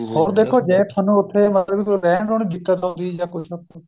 ਹੋਰ ਦੇਖੋ ਜ਼ੇ ਤੁਹਾਨੂੰ ਮਤਲਬ ਕੋਈ ਰਹਿਣ ਰਹੁਣ ਵਿੱਚ ਦਿੱਕਤ ਆਉਦੀ ਏ ਜਾ ਕੁੱਛ